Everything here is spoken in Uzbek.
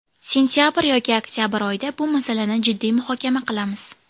Sentabr yoki oktabr oyida bu masalani jiddiy muhokama qilamiz.